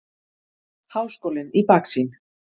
Háskólinn í baksýn.